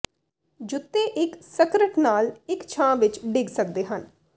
ਜੁੱਤੇ ਇੱਕ ਸਕਰਟ ਨਾਲ ਇੱਕ ਛਾਂ ਵਿੱਚ ਡਿੱਗ ਸਕਦੇ ਹਨ